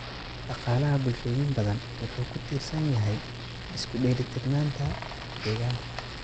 Dhaqaalaha bulshooyin badan wuxuu ku tiirsan yahay isku dheellitirnaanta deegaanka.